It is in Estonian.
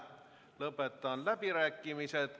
Lõpetan läbirääkimised!